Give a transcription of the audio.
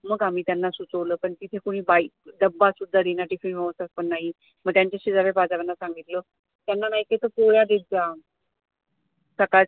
मग आम्ही त्यांना सुचवलं पण तिथं कोणी बाई डब्बा सुद्धा देईना Tiffin मग त्यांच्या शेजऱ्या पाजाऱ्यांना सांगितलं त्यांना नाही काही तर पोळ्या देत जा, सकाळ